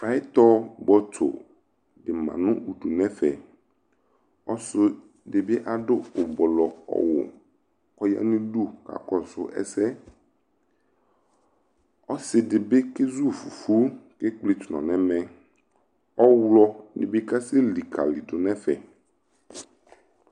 Payɩtɔ bɔtso dɩ ma nʋ ufu nʋ ɛfɛ Ɔsɩ dɩ bɩ adʋ ʋblɔ ɔwʋ kʋ ɔya nʋ udu kakɔsʋ ɛsɛ Ɔsɩ dɩ bɩ kezu fufu kʋ ekpletu nɔ nʋ ɛmɛ Ɔɣlɔnɩ bɩ kasɛlikalidu nʋ ɛfɛ